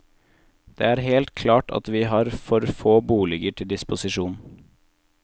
Det er helt klart at vi har for få boliger til disposisjon.